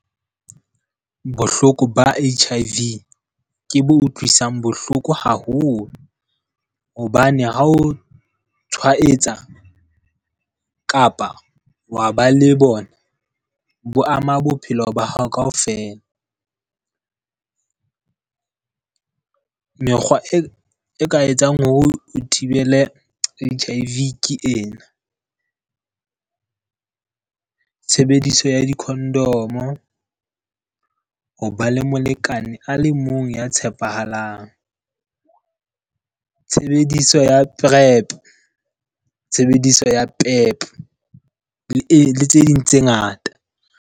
Bohloko ba H_I_V ke bo utlwisang bohloko haholo hobane ha o tshwaetsa kapa wa ba le bona, bo ama bophelo ba hao kaofela. Mekgwa e ka etsang hore o thibele H_I_V ke ena. Tshebediso ya di-condom-o, ho ba le molekane a le mong ya tshepahalang. Tshebediso ya PrEp, tshebediso ya le tse ding tse ngata.